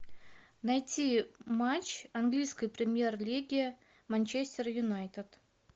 найти матч английской премьер лиги манчестер юнайтед